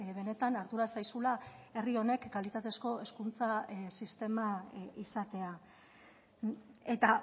benetan ardura zaizula herri honek kalitatezko hezkuntza sistema izatea eta